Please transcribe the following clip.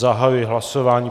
Zahajuji hlasování.